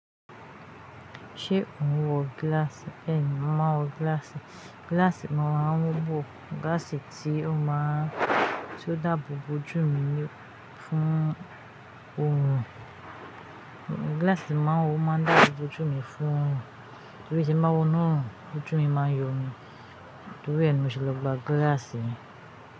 Ṣé o ń wọ gíláàsì? Bẹẹni, mọ́ máa n wọ gíláàsì. Gíláàsì mo máa nwọ́ Gíláàsì tí ó máa ń, tí ó dàbọ̀ bo ojú mi fún òòrùn. Gíláàsì tí mo máa n wọ́ máa ń dàbọ̀ bo ojú mi fún òòrùn, torí tí ń máa wọ̀ náà, ojú mi máa ń yọ́ mi, torí ẹni mi ò ṣe lọ gba gíláàsì.